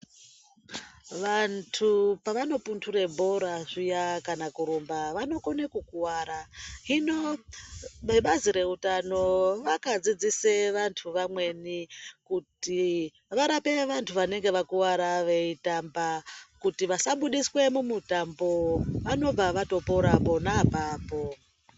Vantu pavanopundure bhora zviya kana kurumba, vanokone kukuwara. Hino vebazi reutano vakadzidzisa vantu vamweni kuti varape vantu vanenge vakuvara veitamba kuti vasabudiswa mumutambo. Vanonga vatopora pona apapo.